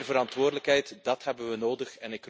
Meer verantwoordelijkheid, dat hebben we nodig.